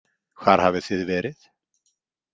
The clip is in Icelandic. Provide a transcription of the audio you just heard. Hvar hafið þið verið?